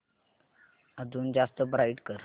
अजून जास्त ब्राईट कर